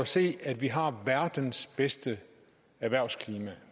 set at vi har verdens bedste erhvervsklima